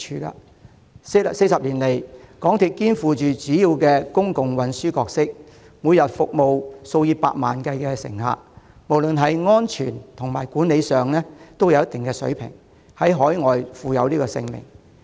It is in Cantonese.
在過往40年，港鐵肩負主要公共運輸的角色，每天服務數以百萬計乘客，不論在安全或管理上也有一定水平，更在海外享負盛名。